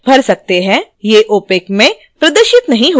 ये opac में प्रदर्शित नहीं होंगे